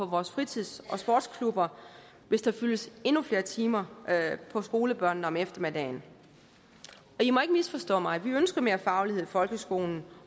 vores fritids og sportsklubber hvis der fyldes endnu flere timer på skolebørnene om eftermiddagen i må ikke misforstå mig vi ønsker mere faglighed i folkeskolen